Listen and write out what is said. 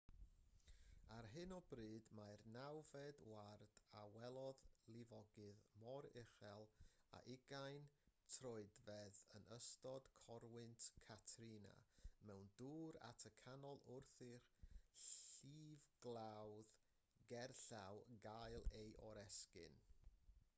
ar hyn o bryd mae'r nawfed ward a welodd lifogydd mor uchel â 20 troedfedd yn ystod corwynt katrina mewn dŵr at y canol wrth i'r llifglawdd gerllaw gael ei oresgyn